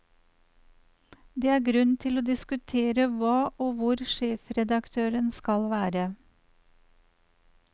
Det er grunn til å diskutere hva og hvor sjefredaktørene skal være.